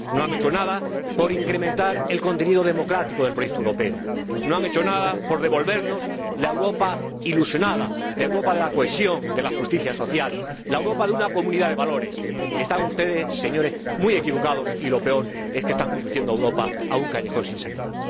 No han hecho nada por incrementar el contenido democrático del proyecto europeo, no han hecho nada por devolvernos la Europa ilusionada, la Europa de la cohesión, de la justicia social, la Europa de una comunidad de valores. Están ustedes, señores, muy equivocados y lo peor es que están conduciendo a Europa a un callejón sin salida.